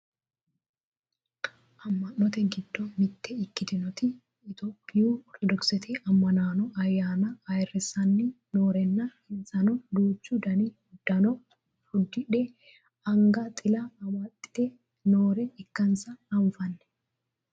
amma'note giddo mitte ikkitinoti itiyphiyu ortodokisete ammanaano ayyaana ayeerrissanni noorenna insano duuchu dani uddano uddishe anga xila amaxxite noore ikkansa anfanni